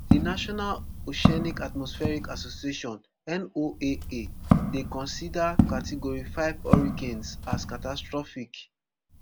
di national oceanic atmospheric association noaa dey consider category five hurricanes as catastrophic